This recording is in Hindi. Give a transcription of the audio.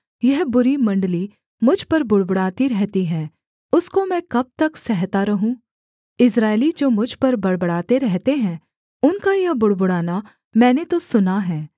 यह बुरी मण्डली मुझ पर बुड़बुड़ाती रहती है उसको मैं कब तक सहता रहूँ इस्राएली जो मुझ पर बड़बड़ाते रहते हैं उनका यह बुड़बुड़ाना मैंने तो सुना है